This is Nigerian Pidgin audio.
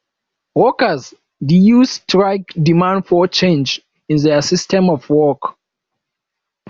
workers de use strike demand for change in their system of work